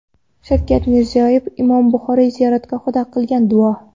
Shavkat Mirziyoyev Imom Buxoriy ziyoratgohida qilgan duo.